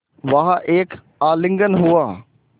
वहाँ एक आलिंगन हुआ